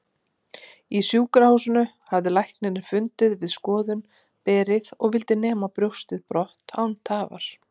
Í sjúkrahúsinu hafði læknirinn fundið við skoðun berið og vildi nema brjóstið brott án tafar.